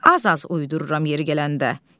Az-az uydururam yeri gələndə.